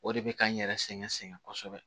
O de bɛ ka n yɛrɛ sɛgɛn sɛgɛn kosɛbɛ